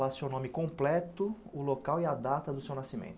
Fala seu nome completo, o local e a data do seu nascimento.